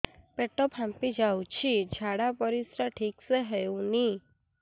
ପେଟ ଫାମ୍ପି ଯାଉଛି ଝାଡ଼ା ପରିସ୍ରା ଠିକ ସେ ହଉନି